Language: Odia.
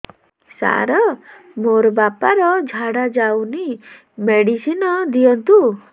ସାର ମୋର ବାପା ର ଝାଡା ଯାଉନି ମେଡିସିନ ଦିଅନ୍ତୁ